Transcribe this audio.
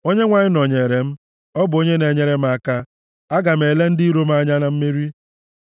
Onyenwe anyị nọnyere m; ọ bụ onye na-enyere m aka. Aga m ele ndị iro m anya na mmeri.